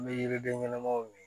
N bɛ yiriden ɲɛnamaw min